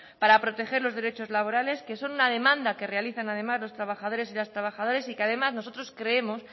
para proteger los derechos laborales que son una demanda que realizan además los trabajadores y las trabajadoras y que además nosotros creemos